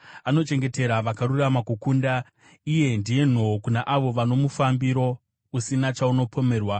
Anochengetera vakarurama kukunda, iye ndiye nhoo kuna avo vane mufambiro usina chaunopomerwa,